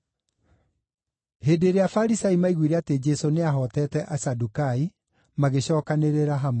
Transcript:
Hĩndĩ ĩrĩa Afarisai maaiguire atĩ Jesũ nĩahootete Asadukai, magĩcookanĩrĩra hamwe.